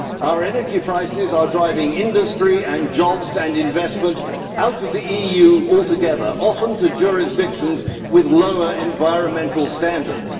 Our energy prices are driving industry, jobs and investment out of the EU altogether, often to jurisdictions with lower environmental standards.